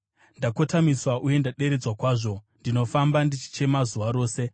Ndakotamiswa uye ndaderedzwa kwazvo; ndinofamba ndichichema zuva rose.